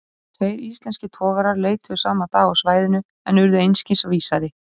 Tveir íslenskir togarar leituðu sama dag á svæðinu, en urðu einskis vísari.